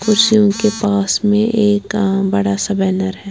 कुर्सियों के पास में एक अ बड़ा सा बैनर है।